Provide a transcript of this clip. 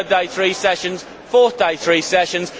third day three sessions fourth day three sessions.